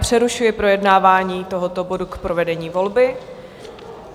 Přerušuji projednávání tohoto bodu k provedení volby.